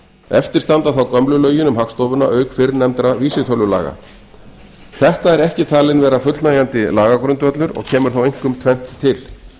eftir standa þá gömlu lögin um hagstofuna auk fyrrnefndra vísitölulaga þetta er ekki fullnægjandi lagagrundvöllur og kemur þá einkum tvennt til